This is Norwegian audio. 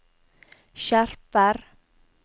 skjerper